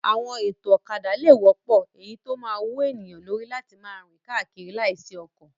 Àwọn ètò ọ̀kadà lè wọ́pọ̀, èyí tó máa wú ènìyàn lórí láti máa rìn káàkiri láìsí ọkọ̀.